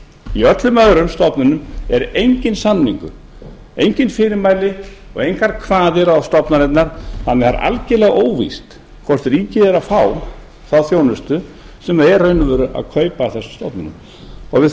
í öllum öðrum stofnunum er enginn samningur engin fyrirmæli og engar kvaðir á stofnanirnar þannig að það er algerlega óvíst hvort ríkið er að fá þá þjónustu sem það er í raun og veru að kaupa af þessum stofnunum og við